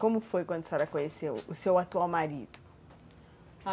Como foi quando a senhora conheceu o seu atual marido?